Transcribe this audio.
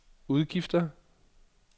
udgifter